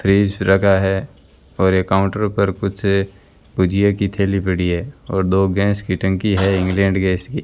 Fridge रखा है और यह काउंटर पर कुछ भुजिए की थैली पड़ी है और दो गैस की टंकी है इंग्लैंड गैस की।